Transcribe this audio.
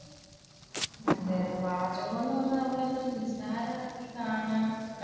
അതെ അതെ പാചകം എന്നുപറഞ്ഞാൽ നമ്മൾ അത്രയും നിസാരമായി